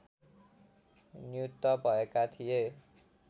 नियुक्त भएका थिए